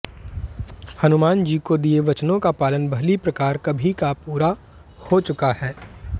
हनुमान जी को दिए वचनों का पालन भली प्रकार कभी का पूरा हो चुका है